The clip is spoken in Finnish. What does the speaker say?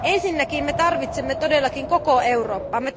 Ensinnäkin me tarvitsemme todellakin koko Eurooppaa.